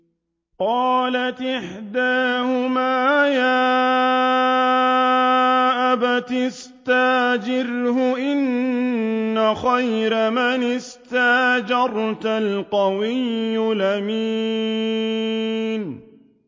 قَالَتْ إِحْدَاهُمَا يَا أَبَتِ اسْتَأْجِرْهُ ۖ إِنَّ خَيْرَ مَنِ اسْتَأْجَرْتَ الْقَوِيُّ الْأَمِينُ